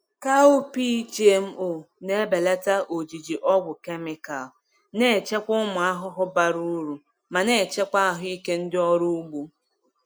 Cowpea GMO na-ebelata ojiji ọgwụ kemikal, na-echekwa ụmụ ahụhụ bara uru ma na-echekwa ahụike ndị ọrụ ugbo.